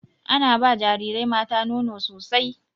Ana ba jarirai mata nono sosai.